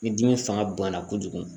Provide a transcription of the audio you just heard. Ni dimi fanga bonyana kojugu